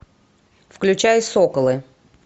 включай соколы